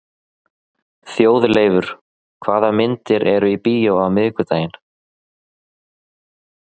Þjóðleifur, hvaða myndir eru í bíó á miðvikudaginn?